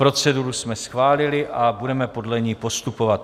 Proceduru jsme schválili a budeme podle ní postupovat.